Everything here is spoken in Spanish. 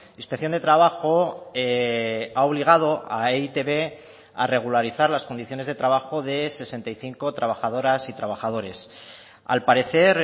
inspección de trabajo ha obligado a e i te be a regularizar las condiciones de trabajo de sesenta y cinco trabajadoras y trabajadores al parecer